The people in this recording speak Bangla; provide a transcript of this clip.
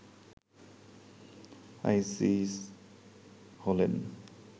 আইসিস হলেন